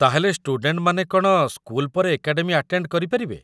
ତା'ହେଲେ ଷ୍ଟୁଡେଣ୍ଟମାନେ କ'ଣ ସ୍କୁଲ ପରେ ଏକାଡେମୀ ଆଟେଣ୍ଡ କରି ପାରିବେ?